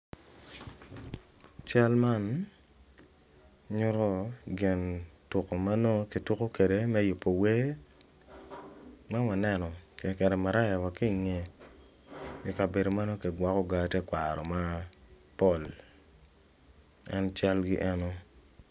Cal man nyuto gin tuku ma nongo kituku kwede me yubo wer ma waneno kiketo maraya wa ki ingeye ikabedo manongo kigwoko gaa tekwaro mapol en calgi eno